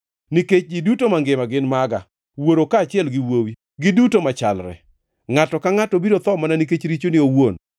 Nikech ji duto mangima gin maga, wuoro kaachiel gi wuowi, giduto machalre. Ngʼato ka ngʼato biro tho mana nikech richone owuon.